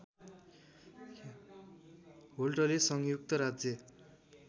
होल्टले संयुक्त राज्य